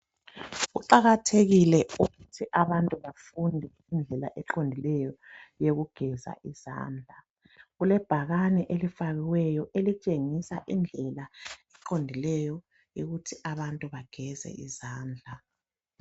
Kuqakathekile ukuthi abantu bafunde indlela eqondileyo yokugeza izandla. Kulebhakane elifakiweyo elitshengisa indlela eqondileyo yokuthi abantu bageze izandla.